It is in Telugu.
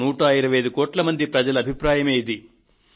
125 కోట్ల మంది ప్రజల అభిప్రాయమే ఇది